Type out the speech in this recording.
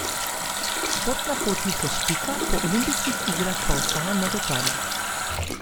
Športna pot Luke Špika po olimpijskih igrah pa ostaja negotova.